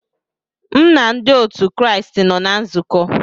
M na ndị otu Kraịst nọ na nzukọ